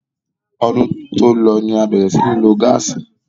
Ọdún tí ó lọ ni a bẹ̀rẹ̀ sí í ní lo gáàsì.